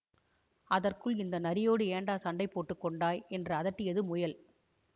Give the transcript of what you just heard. அதற்குள் இந்த நரியோடே ஏண்டா சண்டை போட்டு கொண்டாய் என்று அதட்டியது முயல்